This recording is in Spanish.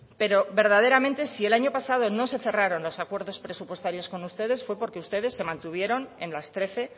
pero verdaderamente si el año pasado no se cerraron los acuerdos presupuestarios con ustedes fue porque ustedes se mantuvieron en las trece